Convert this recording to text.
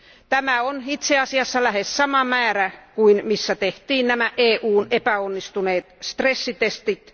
Tämä on itse asiassa lähes sama määrä kuin missä tehtiin EUn epäonnistuneet stressitestit.